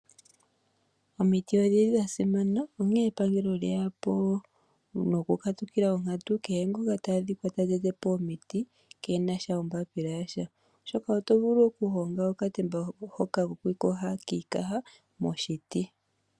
Omiti odhili dha simana onkee epangelo olye ya po noku katukila onkantu ku kehe ngoka ta adhika ta tete omiti keena ombapila yasha oshoka oto vulu okuhonga okatemba hoka kokwiiyoga moshiti.